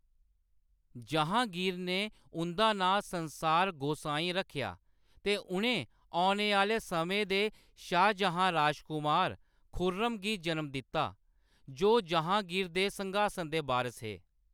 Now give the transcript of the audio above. जहाँगीर ने उंʼदा नांऽ संसार गोसाई रक्खेआ ते उʼनें औने आह्‌‌‌ले समें दे शाहजहाँ राजकमार खुर्रम गी जनम दित्ता जो जहाँगीर दे सिंघासन दे बारस हे।